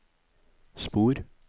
spor